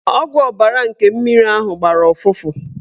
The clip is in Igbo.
Ọgwụ ọbara nke mmiri ahụ gbara ụfụfụ.